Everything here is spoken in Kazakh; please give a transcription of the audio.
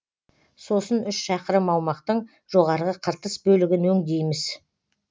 сосын үш шақырым аумақтың жоғарғы қыртыс бөлігін өңдейміз